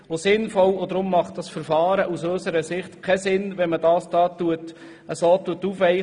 Deshalb macht das Verfahren aus unserer Sicht keinen Sinn, wenn man den Artikel aufweicht.